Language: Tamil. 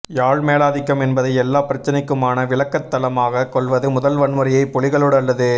யாழ் மேலாதிக்கம் என்பதை எல்லாப் பிரச்சினைக்குமான விளக்கத் தளமாகக் கொள்வது முதல் வன்முறையை புலிகளோடு அல்லது